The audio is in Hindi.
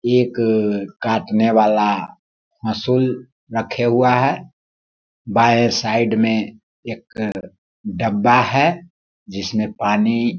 एक काटने वाला हसूल रखे हुआ है बांये साईड में एक डब्‍बा है जिसमें पानी --